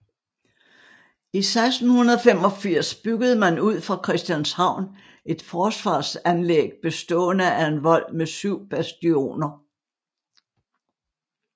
I 1685 byggede man ud fra Christianshavn et forsvarsanlæg bestående af en vold med syv bastioner